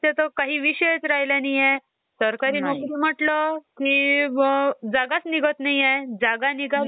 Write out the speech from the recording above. त्याला हयाचे कॉम्युटर चे टाईप पण दोन तीन आहेत वाटतं, लॅपटॉप